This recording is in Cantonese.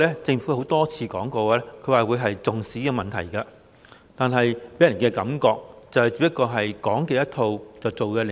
政府雖然多次表示非常重視這個問題，但總予人"講一套，做一套"的感覺。